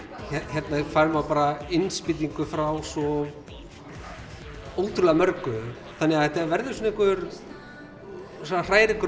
hérna fær maður bara innspýtingu frá svo ótrúlega mörgu þannig að þetta verður svona einhver svona hrærigrautur